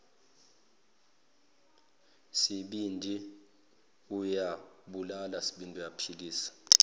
sibindi uyabulala sibindi